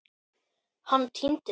Hann týnst?